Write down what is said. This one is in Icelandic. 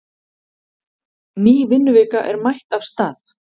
Ný vinnuvika er mætt af stað.